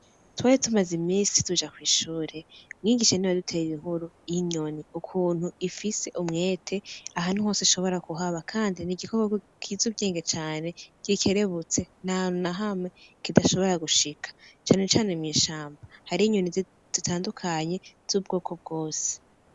Twari tumaze imisi tuja kwishuri mwigisha niwe yaduteye inkuru yinyoni ukuntu ifise umutwe ahantu hose, ishobora kuhaba Kandi nigikoko kizi ubwenge cane gikerebutse ntahantu na hamwe kidashobora gushika cane cane mwishamba hari inyoni zitandukanye zubwoko bwose.